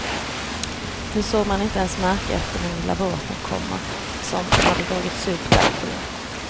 Nu såg man inte ens märken efter den lilla båten, komma som hade dragits upp där. punkt